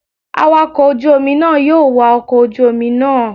Awakọ̀ ojú omi náà yóò wa ọkọ̀ ojú omi náà.